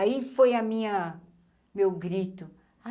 Aí foi a minha... Meu grito.